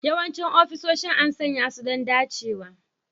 Yawancin ofisoshin an sanya su don dacewa